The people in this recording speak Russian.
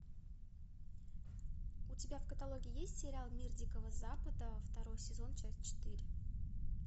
у тебя в каталоге есть сериал мир дикого запада второй сезон часть четыре